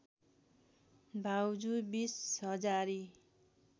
भाउजू बिस हजारी